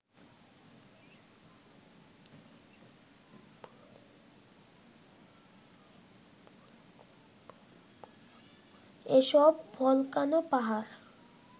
এসব ভলকানো পাহাড়